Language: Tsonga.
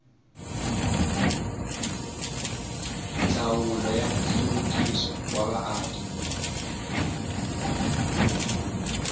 ndzawulo ya nhluvukiso wa vaaki